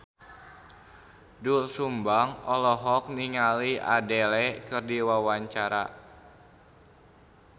Doel Sumbang olohok ningali Adele keur diwawancara